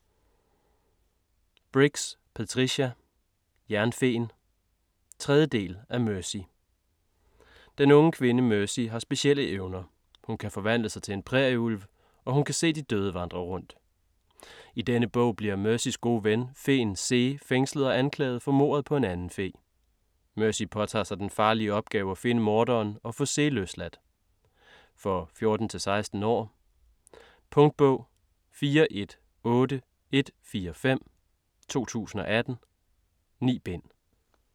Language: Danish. Briggs, Patricia: Jernfeen 3. del af Mercy. Den unge kvinde, Mercy har specielle evner. Hun kan forvandle sig til en prærieulv, og hun kan se de døde vandre rundt. I denne bog bliver Mercys gode ven, feen Zee fængslet og anklaget for mordet på en anden fe. Mercy påtager sig den farlige opgave at finde morderen og få Zee løsladt. For 14-16 år. Punktbog 418145 2018. 9 bind.